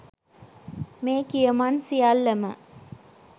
මේ කියමන් සියල්ලම